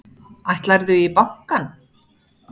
Ætlarðu í bankann?